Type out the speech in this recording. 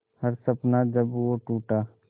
हर सपना जब वो टूटा